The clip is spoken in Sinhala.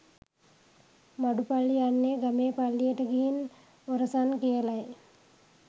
මඩු පල්ලි යන්නේ ගමේ පල්ලියට ගිහින් ඔරසන් කියලයි.